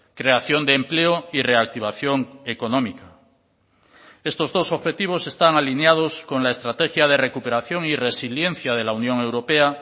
creación de empleo y reactivación económica estos dos objetivos están alineados con la estrategia de recuperación y resiliencia de la unión europea